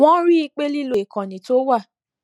wón rí i pé lílo ìkànnì tó wà